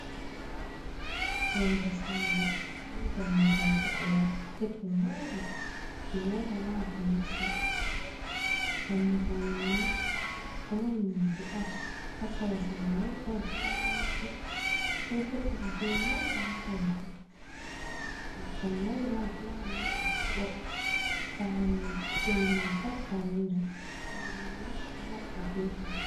Yonde sare, be dammugal boɗewal getwa manga je mota wawata nasta. Dammugal mai ni ɗo mari nonde ash. Hasera sare mai ni don flawaji perpetel be manga hasera to. Leggal manga on flawa mai ni bokko bokko saremai yonde mai pat baranda sare mai ni do mabbe be kwaɗo.